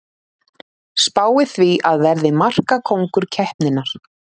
Spái því að verði markakóngur keppninnar!